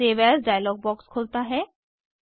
save as dialogue box खुलता है